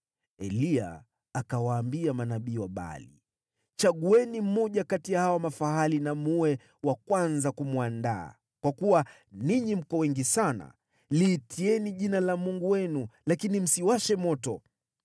Eliya akawaambia manabii wa Baali, “Chagueni mmoja kati ya hawa mafahali na mwe wa kwanza kumwandaa, kwa kuwa ninyi mko wengi sana. Liitieni jina la mungu wenu, lakini msiwashe moto.”